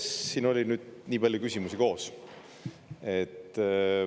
Siin oli nüüd nii palju küsimusi koos.